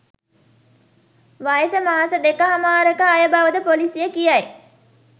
වයස මාස දෙකහමාරක අය බව ද පොලිසිය කියයි.